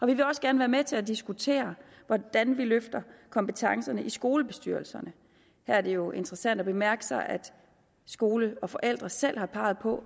vi vil også gerne være med til at diskutere hvordan vi løfter kompetencerne i skolebestyrelserne her er det jo interessant at bemærke sig at skole og forældre selv har peget på